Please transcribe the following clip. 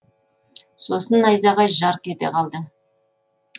сосын найзағай жарқ кете қалады